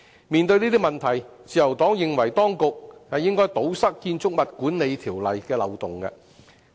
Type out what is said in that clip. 面對這些問題，自由黨認為當局應該堵塞《建築物管理條例》的漏洞。